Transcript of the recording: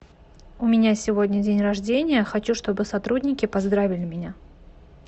у меня сегодня день рождения хочу чтобы сотрудники поздравили меня